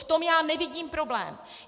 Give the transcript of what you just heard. V tom já nevidím problém.